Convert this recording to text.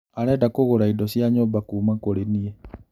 Arenda kũgũra indo cia nyũmba kuma kũrĩ niĩ